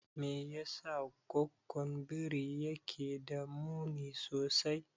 Me yasa goggon biri yake da muni sosai?